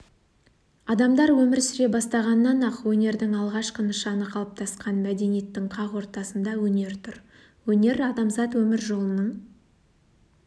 адамдар өмір сүре бастағаннан-ақ өнердің алғашқы нышаны қалыптасқан мәдениеттің қақ ортасында өнер тұр өнер-адамзат өмір жолының